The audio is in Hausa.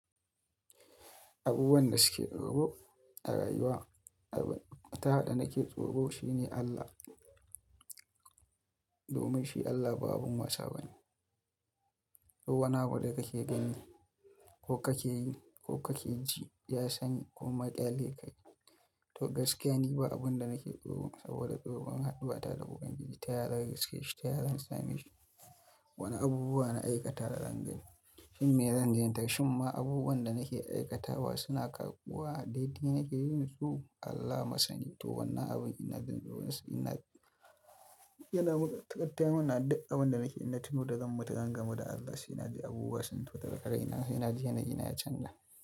Abubuwan da suke tsoro a rayuwa, ta haɗa da nake tsoro shine Allah. Domin shi Allah ba abun wasa bane. Ko wani abu da kake gani ko kake yi ko kake ji, ya sani ko maƙyale ka yi. To gaskiya ne ba abun da nake tsoro saboda tsoron haɗi ba ta da buƙun ji, ta yara gaskiya ce, ta yara in same shi. Wani abubuwa na aikata da zanga, shim me zan zantace? Shim ma abubuwan da nake aikatawa suna karɓuwa, daidai nake yin su Allah masani. To wannan abun ina jin tsoro nas, ina yana taƙaitai muna duk abun da nake ina tuno da zan mutu zan gamu da Allah, shi yana ji abubuwa su to daga kai na shi yana ji, yanayi yana canja.